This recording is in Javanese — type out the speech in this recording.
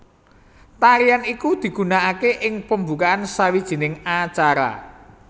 Tarian iku digunakake ing pembukaan sawijining acara